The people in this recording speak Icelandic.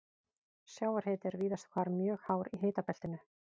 Sjávarhiti er víðast hvar mjög hár í hitabeltinu.